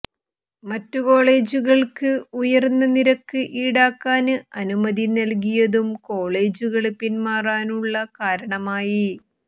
മറ്റു കോളജുകള്ക്ക് ഉയര്ന്ന നിരക്ക് ഈടാക്കാന് അനുമതി നല്കിയതും കോളജുകള് പിന്മാറാനുള്ള കാരണമായി